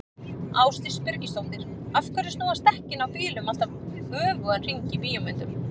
Ásdís Birgisdóttir: Af hverju snúast dekkin á bílum alltaf öfugan hring í bíómyndum?